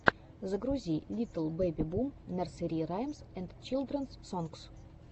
загрузи литл бэби бум нерсери раймс энд чилдренс сонгс